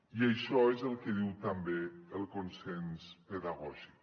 i això és el que diu també el consens pedagògic